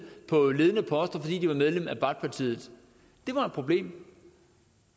på ledende poster fordi de var medlem af baathpartiet det var et problem